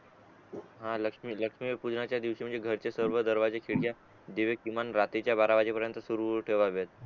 हा लक्ष्मी लक्ष्मी पूजनाचा दिवशी घरचे सर्व दरवाजे खिडक्या किमान रात्रीचा बारा वाजे पर्यंत तरी सुरु ठेवाव्यात